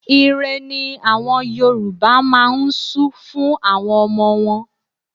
Ìre ni àwọn Yorùbá máa ń su fún àwọn ọmọ wọn.